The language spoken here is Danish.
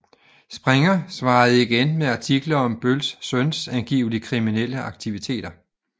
Springer svarede igen med artikler om Bölls søns angiveligt kriminelle aktiviteter